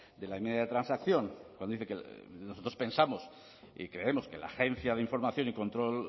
de la enmienda de transacción cuando dice que nosotros pensamos y creemos que la agencia de información y control